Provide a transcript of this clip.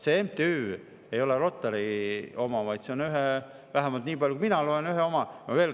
See MTÜ ei ole Rotary oma, vaid see on – vähemalt nii palju, kui mina lugenud olen – ühe oma.